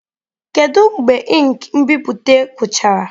Kedu mgbe ink nbipute gwụchara?